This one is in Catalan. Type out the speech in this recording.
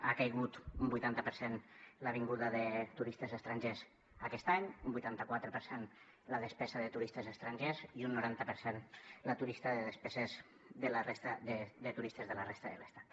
ha caigut un vuitanta per cent la vinguda de turistes estrangers aquest any un vuitanta quatre per cent la despesa de turistes estrangers i un noranta per cent la despesa de turistes de la resta de l’estat